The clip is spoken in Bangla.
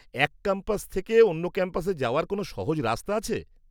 এক ক্যাম্পাস থেকে অন্য ক্যাম্পাসে যাওয়ার কোনও সহজ রাস্তা আছে?